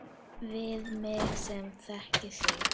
Við mig sem þekki þig.